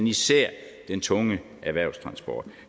især den tunge erhvervstransport